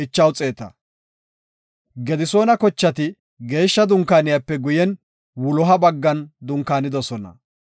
Gedisoona kochati Geeshsha Dunkaaniyape guyen wuloha baggan dunkaanidosona.